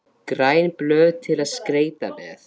græn blöð til að skreyta með